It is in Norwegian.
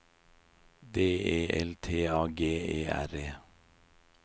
D E L T A G E R E